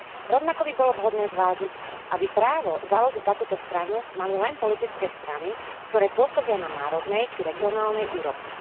Rovnako by bolo vhodné zvážiť, aby právo založiť takúto stranu mali len politické strany, ktoré pôsobia na národnej či regionálnej úrovni.